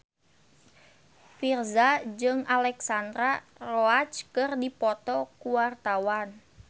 Virzha jeung Alexandra Roach keur dipoto ku wartawan